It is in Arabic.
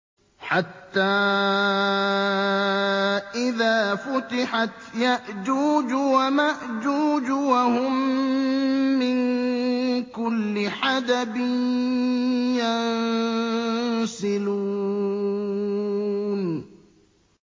حَتَّىٰ إِذَا فُتِحَتْ يَأْجُوجُ وَمَأْجُوجُ وَهُم مِّن كُلِّ حَدَبٍ يَنسِلُونَ